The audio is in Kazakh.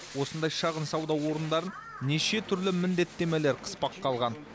осындай шағын сауда орындарын неше түрлі міндеттемелер қыспаққа алған